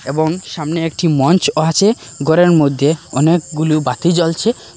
এবং সামনে একটি মঞ্চ আছে ঘরের মইধ্যে অনেকগুলো বাতি জ্বলছে।